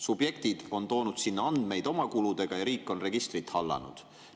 Subjektid on toonud sinna andmeid oma kuludega ja riik on registrit hallanud.